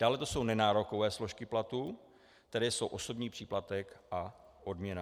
Dále jsou to nenárokové složky platu, které jsou osobní příplatek a odměna.